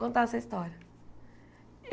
contar essa história.